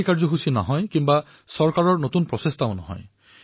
এই কাৰ্যসূচী চৰকাৰী নাছিল